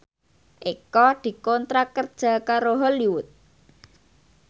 Eko dikontrak kerja karo Hollywood